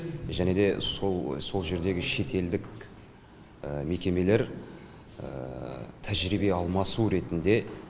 және де сол сол жердегі шетелдік мекемелер тәжірибе алмасу ретінде